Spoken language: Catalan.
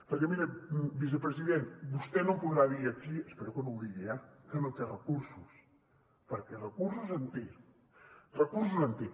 perquè miri vicepresident vostè no em podrà dir aquí espero que no ho digui eh que no té recursos perquè de recursos en té de recursos en té